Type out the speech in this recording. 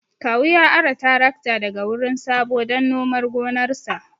Kawu ya ara tarakta daga wurin Sabo dan nomar gonarsa